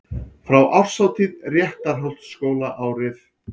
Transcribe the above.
Frá árshátíð Réttarholtsskóla árið